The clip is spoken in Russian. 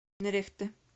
нерехте